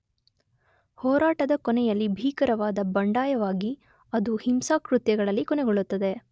ಹೋರಾಟದ ಕೊನೆಯಲ್ಲಿ ಭೀಕರವಾದ ಬಂಡಾಯವಾಗಿ ಅದು ಹಿಂಸಾಕೃತ್ಯಗಳಲ್ಲಿ ಕೊನೆಗೊಳ್ಳುತ್ತದೆ.